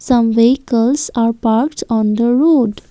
Some vehicles are parked on the road.